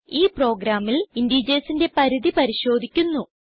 ഈ പ്രോഗ്രാമിൽ integersന്റെ പരിധി പരിശോധിക്കുന്നു